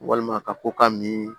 Walima ka ko ka mi